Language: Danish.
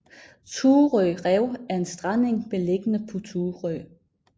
Thurø Rev er en strandeng beliggende på Thurø